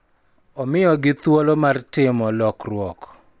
Omiyogi thuolo mar timo lokruok .